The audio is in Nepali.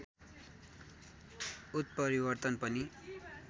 उत्परिवर्तन पनि